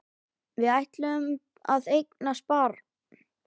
Við ætluðum að eignast barn.